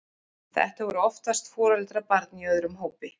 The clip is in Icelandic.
Þetta voru oftast foreldrar barna í öðrum hópi.